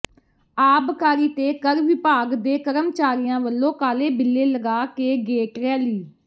ਆਬਕਾਰੀ ਤੇ ਕਰ ਵਿਭਾਗ ਦੇ ਕਰਮਚਾਰੀਆਂ ਵਲੋਂ ਕਾਲੇ ਬਿੱਲੇ ਲਗਾ ਕੇ ਗੇਟ ਰੈਲੀ